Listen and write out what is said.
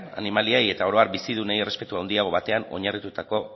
animaliei eta oro har bizidunei errespetu handiago batean oinarritutako